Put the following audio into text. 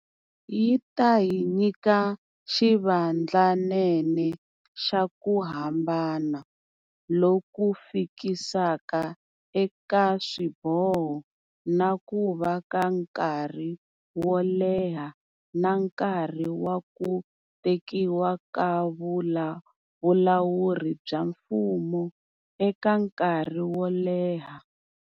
Yi ta hi nyika xivandlanene xa ku hambana loku fikisaka eka swiboho na ku va ka nkarhi wo leha na nkarhi wa ku tekiwa ka vulawuri bya mfumo eka nkarhi woleha.